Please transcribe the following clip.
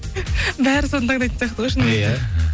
бәрі соны таңдайтын сияқты ғой шынымен де